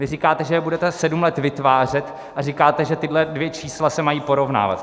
Vy říkáte, že je budete sedm let vytvářet, a říkáte, že tahle dvě čísla se mají porovnávat.